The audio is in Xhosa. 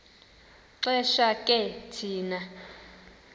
xesha ke thina